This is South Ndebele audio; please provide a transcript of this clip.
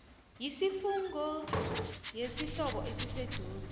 yesifungo yesihlobo esiseduze